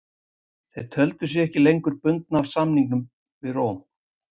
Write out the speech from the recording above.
Þeir töldu sig ekki lengur bundna af samningum við Róm.